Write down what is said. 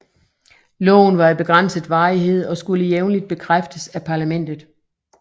Loven var af begrænset varighed og skulle jævnligt bekræftes af parlamentet